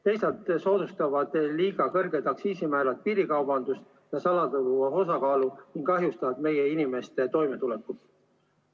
Teisalt soodustavad liiga kõrged aktsiisimäärad piirikaubandust ja suurendavad salaturu osakaalu ning kahjustavad meie inimeste toimetulekut.